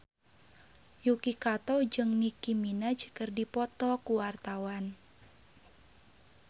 Yuki Kato jeung Nicky Minaj keur dipoto ku wartawan